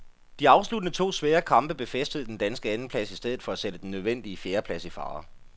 De afsluttende to svære kamp befæstede den danske andenplads i stedet for at sætte den nødvendige fjerdeplads i fare.